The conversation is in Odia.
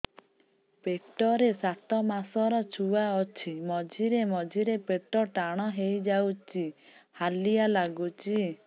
ପେଟ ରେ ସାତମାସର ଛୁଆ ଅଛି ମଝିରେ ମଝିରେ ପେଟ ଟାଣ ହେଇଯାଉଚି ହାଲିଆ ଲାଗୁଚି